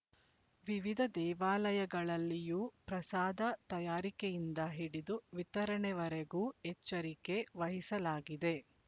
ವಿವಿಧ ದೇವಾಲಯಗಳಲ್ಲಿಯೂ ಪ್ರಸಾದ ತಯಾರಿಕೆಯಿಂದ ಹಿಡಿದು ವಿತರಣೆವರೆಗೂ ಎಚ್ಚರಿಕೆ ವಹಿಸಲಾಗಿದೆ